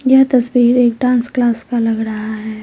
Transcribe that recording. यह तस्वीर एक डांस क्लास का लग रहा है।